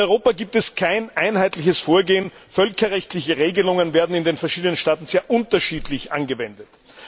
In Europa gibt es kein einheitliches Vorgehen, völkerrechtliche Regelungen werden in den verschiedenen Staaten sehr unterschiedlich angewendet.